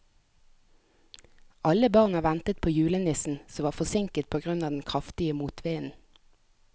Alle barna ventet på julenissen, som var forsinket på grunn av den kraftige motvinden.